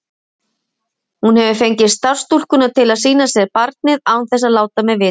Hún hafði fengið starfsstúlkurnar til að sýna sér barnið án þess að láta mig vita.